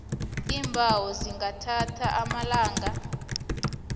iimbawo zingathatha amalanga